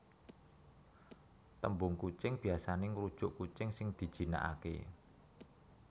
Tembung kucing biasane ngrujuk kucing sing dijinakake